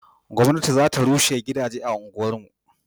gwamnati za ta rushe gidaje a unguwar mu